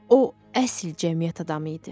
O əsil cəmiyyət adamı idi.